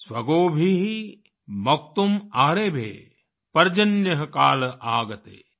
स्वगोभिः मोक्तुम् आरेभे पर्जन्यः काल आगते